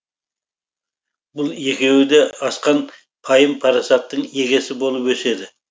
бұл екеуі де асқан пайым парасаттың егесі болып өседі